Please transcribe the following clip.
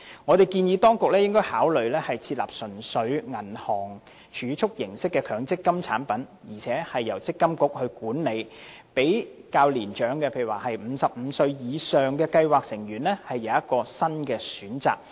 我們建議當局應該考慮設立純屬銀行儲蓄形式的強積金產品，並由積金局管理，讓較年長如55歲或以上的計劃成員有一項新的選擇。